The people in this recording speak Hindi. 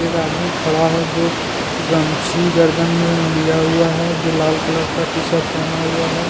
एक आदमी खड़ा है जो गमछी गर्दन में लिया हुआ है जो लाल कलर का टीशर्ट पहना हुआ है।